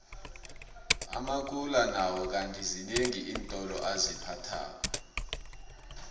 amakula nawo kandi zinengi iintolo aziphathako